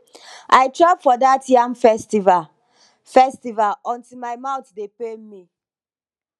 i chop for dat yam festival yam festival until my mouth dey pain me